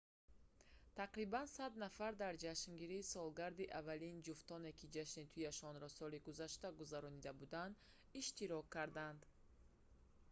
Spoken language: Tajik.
тақрибан 100 нафар дар ҷашнгирии солгарди аввалини ҷуфтоне ки ҷашни туияшонро соли гузашта гузаронида буданд иштирок карданд